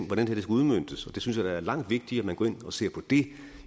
hvordan det skal udmøntes og jeg synes da det er langt vigtigere at man går ind og ser på det